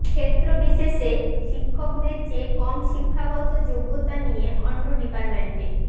ক্ষেত্রবিশেষে শিক্ষকদের চেয়ে কম শিক্ষাগত যোগ্যতা নিয়ে অন্য ডিপার্টমেন্টে